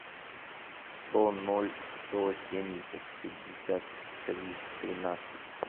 сто ноль сто семьдесят пятьдесят три тринадцать